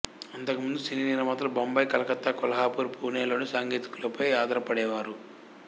అంతకు ముందు సినీ నిర్మాతలు బొంబాయి కలకత్తా కొల్హాపూరు పూణే లోని సాంకేతికులపై ఆధారపడేవారు